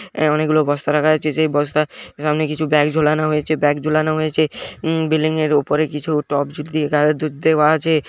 এ অনেক গুলো বস্তা রাখা আছে | সেই বস্তার সামনে কিছু ব্যাগ ঝোলানো হয়েছে | ব্যাগ ঝোলানো হয়েছে-- উম বিল্ডিংয়ের উপরে কিছু টপ দেওয়া আছে ।